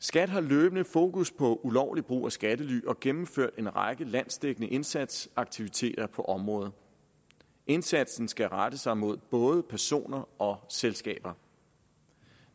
skat har løbende fokus på ulovlig brug af skattely og gennemfører en række landsdækkende indsatsaktiviteter på området indsatsen skal rette sig mod både personer og selskaber